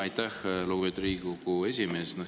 Aitäh, lugupeetud Riigikogu esimees!